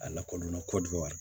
A lakɔlimɛ kɔdɔ wa